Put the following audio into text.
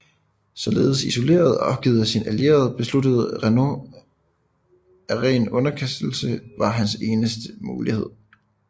Således isoleret og opgivet af sine allierede besluttede Renaud at ren underkastelse var hans eneste mulighed